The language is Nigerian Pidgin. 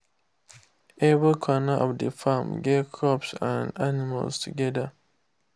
every corner of the farm get crops and animals together.